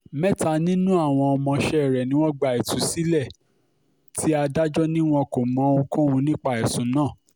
mẹ́ta nínú àwọn ọmọọṣẹ́ rẹ̀ ni wọ́n gba ìtúsílẹ̀ ti adájọ́ ni wọn kò mọ ohunkóhun nípa ẹ̀sùn náà